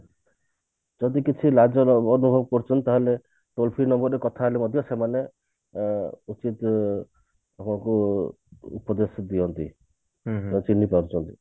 ଯଦି କିଛି ଅନୁଭବ କରୁଛନ୍ତି ତାହେଲେ toll-free number ରେ କଥା ହେଲେ ମଧ୍ୟ ସେମାନେ ଅ ଉଚିତ ଉପଦେଶ ଦିଅନ୍ତି ବ ଚିହ୍ନି ପାରୁଛନ୍ତି